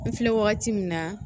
N filɛ wagati min na